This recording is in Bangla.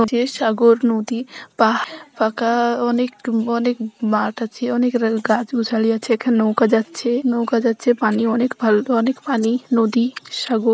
যে সাগর নদী পাহাড় পাকা অনেক অনেক মাঠ আছে অনেক গাছ গোছালী নৌকা যাচ্ছে নৌকা যাচ্ছে পানি অনেক পানি নদী সাগর।